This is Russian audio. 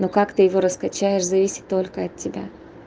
как ты его скачаешь зависит только от тебя